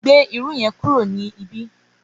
Gbé irú yẹn kúrò ní ibi!